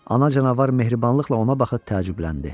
Ana canavar mehribanlıqla ona baxıb təəccübləndi.